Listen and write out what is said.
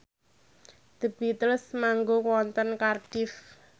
The Beatles manggung wonten Cardiff